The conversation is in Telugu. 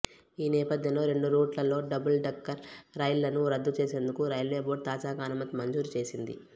ఈ నేపథ్యంలో రెండు రూట్లలో డబుల్డెక్కర్ రైళ్లను రద్దు చేసేందుకు రైల్వే బోర్డు తాజాగా అనుమతి మంజూరు చేసింది